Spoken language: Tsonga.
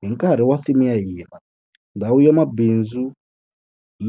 Hi nkarhi wa theme ya hina, Ndhawu ya Mabindzu